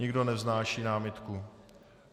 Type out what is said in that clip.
Nikdo nevznáší námitku.